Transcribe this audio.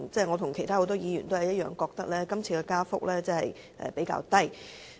我和很多議員都認為今次的加幅比較低。